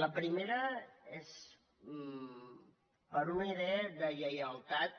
la primera és per una idea de lleialtat